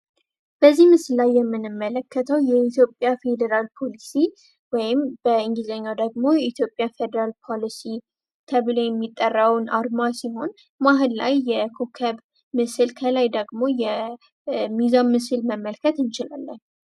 በዚህ ምስል የምንመለከተው የኢትዮጵያ ፌደራል ፓሊሲ ወይም በእንግሊዝኛው ደግሞ የኢትዮጵያ ፖሊሲ ተብሎ የሚጠራውን አርማ ሲሆን መሀል ላይ የኮከብ ምስል ከላይ ደግሞ የሚዛን ምስል መመልከት እንችላለን።